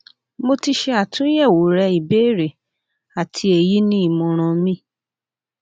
mo ti ṣe atunyẹwo rẹ ibeere ati eyi ni imọran mi